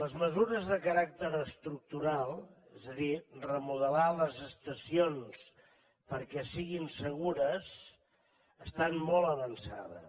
les mesures de caràcter estructural és a dir remodelar les estacions perquè siguin segures estan molt avançades